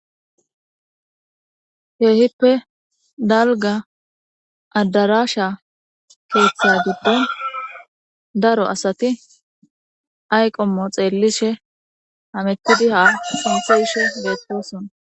Keehippe dalga adarasha keeththa gibdo daro asati ayqommo xeellishe amettidi haa sunthe gishe beettosona.